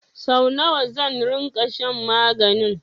Sau nawa zan ringa shan maganin?